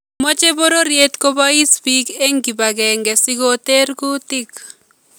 Maache bororyeet kobayis biik eng kibakenke sikoter kuutik